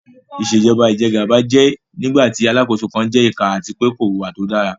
Ìṣèjọ́ba ìjẹ́gàba jẹ́ nígbàtí Alákóso kan jẹ ìkà àti pé kò wùwá tó dára